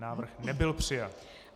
Návrh nebyl přijat.